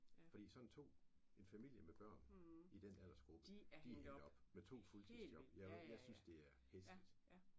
Fordi sådan to en familie med børn i den aldersgruppe de er hængt op med to fuldtidsjob jeg synes det er hæsligt